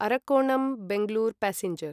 Arakkonam Bengaluru passenger